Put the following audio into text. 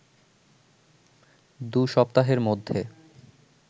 দু’সপ্তাহের মধ্যে